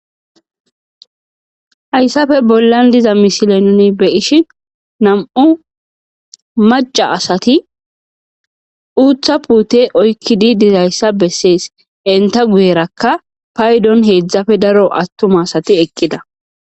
Hayssafe bollan diza misile nni be ishi nam'u maca asati uutha puute oykkidi dirayssa bessees enta guyerakka paydon heedzdzafe daro attuma asati eqqida.